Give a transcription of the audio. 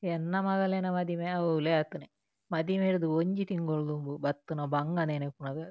ಎನ್ನ ಮಗಲೆನ ಮದಿಮೆ ಅವ್ಲೇ ಆತಿನಿ ಮದಿಮೆರ್ದ್ ಒಂಜಿ ತಿಂಗೊಲು ದುಂಬು ಬತ್ತಿನ ಬಂಗ ನೆನಪುನಗ.